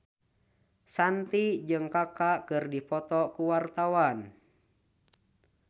Shanti jeung Kaka keur dipoto ku wartawan